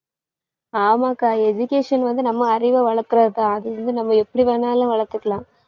ஆமாக்கா education வந்து நம்ம அறிவை வளர்க்கிறது தான். அது வந்து நம்ம எப்படி வேணாலும் வளர்த்துக்கலாம்.